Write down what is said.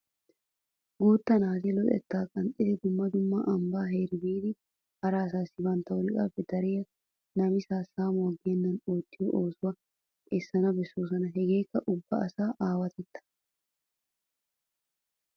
Guutta naati luxetta qanxxiddi dumma dumma ambba heera biidi hara asaassi bantta wolqqappe dariya namissa saamuwa geenan oottiyo oosuwa essana besoos. Hagekka ubba asaa aawatetta.